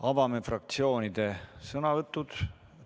Avame fraktsioonide sõnavõtud.